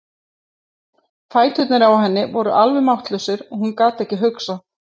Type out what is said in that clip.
Fæturnir á henni voru alveg máttlausir og hún gat ekki hugsað.